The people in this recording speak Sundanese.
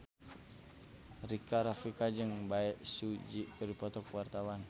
Rika Rafika jeung Bae Su Ji keur dipoto ku wartawan